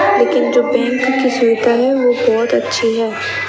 लेकिन जो बैंक की स्वीपर है वो बहोत अच्छी है।